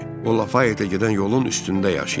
O Lafaytlə gedən yolun üstündə yaşayır.